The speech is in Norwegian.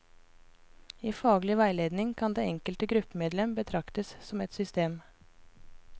I faglig veiledning kan det enkelte gruppemedlem betraktes som et system.